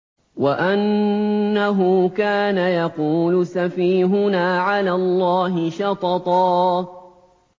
وَأَنَّهُ كَانَ يَقُولُ سَفِيهُنَا عَلَى اللَّهِ شَطَطًا